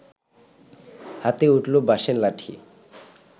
হাতে উঠল বাঁশের লাঠি